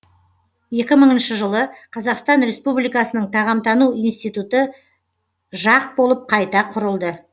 екі мыңыншы жылы қазақстан республикасының тағамтану институты жақ болып қайта құрылды